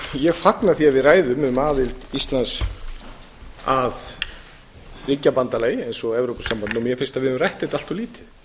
ég fagna því að við ræðum um aðild íslands að ríkjabandalagi eins og evrópusambandinu og mér finnst að við höfum rætt þetta allt of lítið